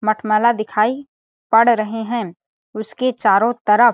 मटमैला दिखाई पड़ रहे है उसके चारों तरफ़ --